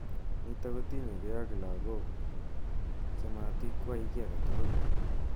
Nitok kotinyekei ak lakok chematikwai ki age tugul.